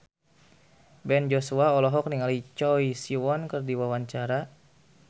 Ben Joshua olohok ningali Choi Siwon keur diwawancara